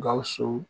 Gawusu